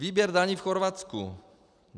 Výběr daní v Chorvatsku.